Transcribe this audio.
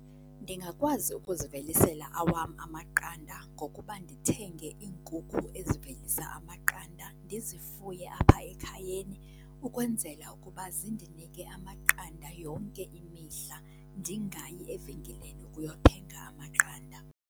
Ndingakwazi ukuzivelisela awam amaqanda ngokuba ndithenge iinkukhu ezivelisa amaqanda ndizifuye apha ekhayeni ukwenzela ukuba zindinike amaqanda yonke imihla, ndingayi evenkileni ukuyothenga amaqanda.